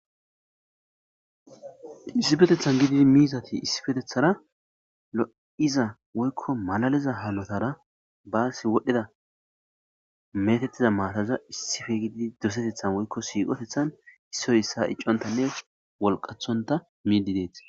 Issippeteththan gididi miizati issppeteththara lo'iza woykko malaliza hunetara baas wodhdhida meetetiza maataza issippe gididi doseteththan woykko siiqoteththan issoy isso iccontanne wolqaththonta miidi deettes.